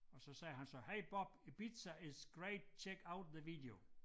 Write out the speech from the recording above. Og siger han så Hi Bob Ibiza is great check out the video